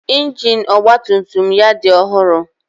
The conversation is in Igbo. Ịnjin ọgba tum tum ya dị ọhụrụ.